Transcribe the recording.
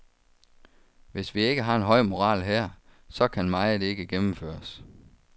Hvis vi ikke har en høj moral her, så kan meget ikke gennemføres.